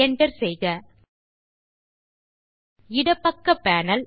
Enter செய்க இடப்பக்க panel